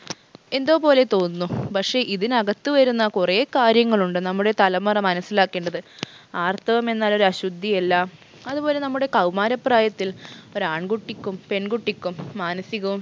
എന്തോ പോലെ തോന്നുന്നു പക്ഷെ ഇതിനകത്ത് വരുന്ന കുറേ കാര്യങ്ങളുണ്ട് നമ്മുടെ തലമുറ മനസ്സിലാക്കേണ്ടത് ആർത്തവം എന്നാൽ ഒരു അശുദ്ധിയല്ല അതുപോലെ നമ്മുടെ കൗമാര പ്രായത്തിൽ ഒരാൺകുട്ടിക്കും പെൺകുട്ടിക്കും മാനസികവും